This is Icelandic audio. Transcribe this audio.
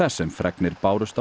sem fregnir bárust af